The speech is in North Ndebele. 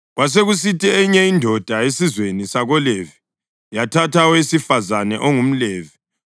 Kwasekusithi eyinye indoda esizweni sakoLevi yathatha owesifazane ongumLevi,